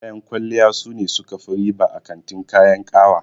Kayan kwalliya sune suka fi riba a kantin kayan ƙawa.